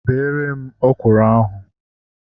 Bere m ọkwụrụ ahu!